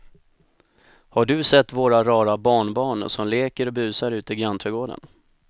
Har du sett våra rara barnbarn som leker och busar ute i grannträdgården!